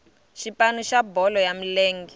xipano xa bolo ya milenge